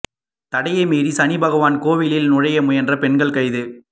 தடையை மீறி சனி பகவான் கோவிலில் நுழைய முயன்ற பெண்கள் கைது